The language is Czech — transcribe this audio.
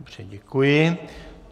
Dobře, děkuji.